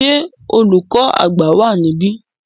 Ṣé olùkọ́ àgbà wa níbí?